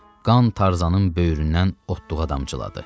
Qan Tarzanın böyründən otduğu qədər damcıladı.